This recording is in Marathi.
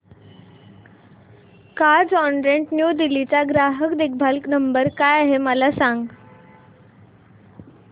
कार्झऑनरेंट न्यू दिल्ली चा ग्राहक देखभाल नंबर काय आहे मला सांग